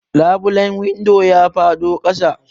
Labulen windon ya faɗo ƙasa.